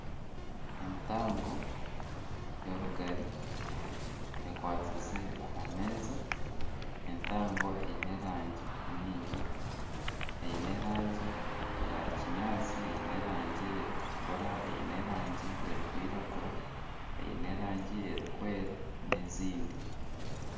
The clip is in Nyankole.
Entango y',orugari ekwatsize ahameeza ,entango eine erangi nyingi ,eine erangi eya kinyatsi ,eine erangi erikutukura eine erangi erikwiragura , eine erangi erikwera n'ezindi.